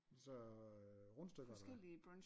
Så øh rundstykker eller hvad